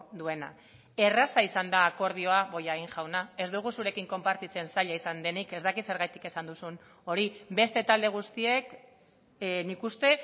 duena erraza izan da akordioa bollain jauna ez dugu zurekin konpartitzen zaila izan denik ez dakit zergatik esan duzun hori beste talde guztiek nik uste